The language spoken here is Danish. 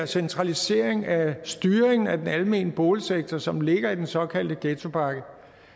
centralisering af styringen af den almene boligsektor som ligger i den såkaldte ghettopakke